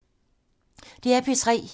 DR P3